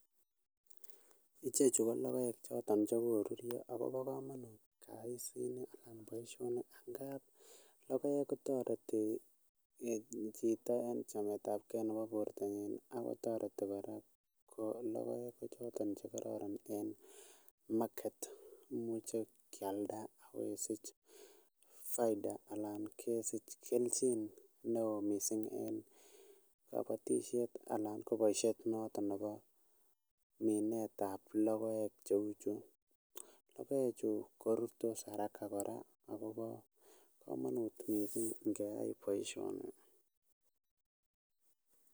Ichechu ko logoek choton chekorurio akobo kamanut kasit niton anan baishoniton niton ngap logoek kotareti Chito en chamet ab gei Nebo bortanyin akotareti koraa ko logoek ko choton chekororon en market koimuchi keyalda akesich faida anan keljin neon mising en kabatishet anan kobaishek noton Nebo Minet ab logoek cheuchu, logoek Chu koruryoa haraka AK akobo kamanut mising ngeyai baishoniton